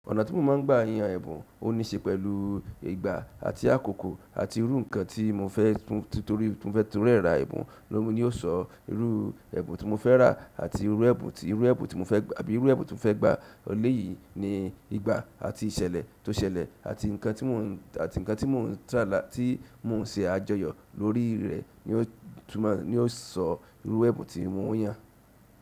Ọ̀nà tí mo máa ń gba ìyàn ẹ̀bùn, ó ní í ṣe pẹ̀lú ìgbà àti àkókò àti irú nǹkan tí mo fẹ́ tu torí mo fẹ́ tún rẹ́ra ẹ̀bùn lómi ni yóò sọ irú ẹ̀bùn tí mo fẹ́ rà àti irú ẹ̀bùn tí, irú ẹ̀bùn tí mo fẹ́ gba àbí irú ẹ̀bùn tí mo fẹ́ gba. Eléyìí ni ìgbà àti ìṣẹ̀lẹ̀ tó ṣẹlẹ̀ àti nǹkan tí mò ń, àti nǹkan tí mò ń tàlá tí mò ń ṣe àjọyọ̀ lórí rẹ̀ ni ó túnmọ̀ ni ó sọ irú ẹ̀bùn tí mo ń yàn.